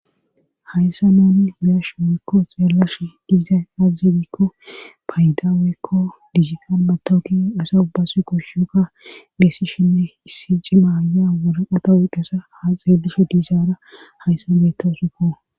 hayssa naani biyash weekko xeellash diizay aaxe gikko payda weekko digital batooki asa ubbase goshshuka geesi shinne issi ci maaya waraqata wiiqasa haa xeelishe diizaara hayssa beetta usuko